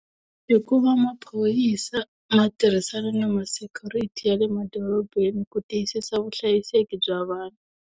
Hi ku va maphorisa ma tirhisana na ma-security ya le madorobeni ku tiyisisa vuhlayiseki bya vanhu.